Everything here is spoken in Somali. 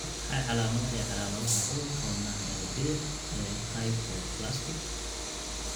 Waa maxay calaamadaha iyo calaamadaha cudurka wadnaha ee bidix ee Hypoplastic?